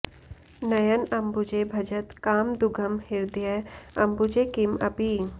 नयन अम्बुजे भजत काम दुघम् हृदय अम्बुजे किम् अपि